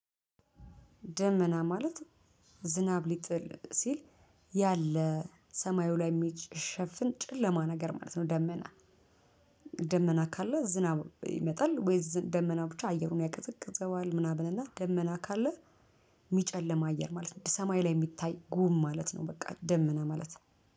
ደመና ማለት ዝናብ ሊጥል ሲል ያለ ሰማዩ ላይ የሚሸፍን ጨለማ ነገር ማለት ነው። ደመና ደመና ካለ ዝናብ ይመጣል። ወይስ ደመና ብቻ አየሩን ያቀዘቅዘዋል ምናምን። እና ደመና ካለ የሚጨልም አየር ማለት ነው። ሰማይ ላይ የሚታይ ጉም ማለት ነው። በቃ ደመና ማለት